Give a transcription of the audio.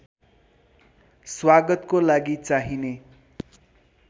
स्वागतको लागि चाहिने